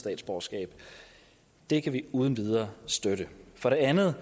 statsborgerskab det kan vi uden videre støtte for det andet